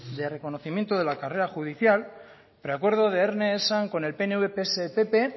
de reconocimiento de la carrera judicial preacuerdo de erne esan con el pnv pse y pp